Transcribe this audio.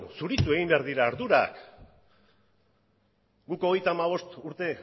zuritu egin behar dira ardurak guk hogeita hamabost urte